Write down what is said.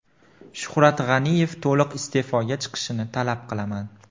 Shuhrat G‘aniyev to‘liq iste’foga chiqishini talab qilaman.